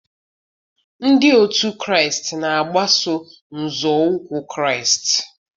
Ndị otu Kraịst na-agbaso nzọụkwụ Kraịst.